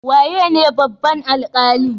Waye ne babban alkalin?